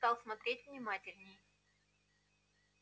стал смотреть внимательней